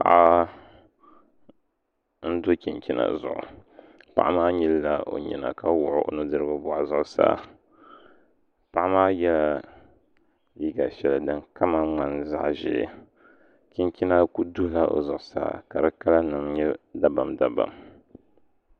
Paɣa n do chinchina zuɣu paɣa maa nyilila o nyina ka wuɣi o nudirigu boɣu zuɣusaa paɣa maa yɛla liiga shɛli din kama ŋmani zaɣ ʒiɛ chinchina ku duhula o zuɣusaa ka di kala nim nyɛ dabam dabam